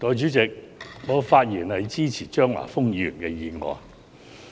代理主席，我發言支持張華峰議員的議案。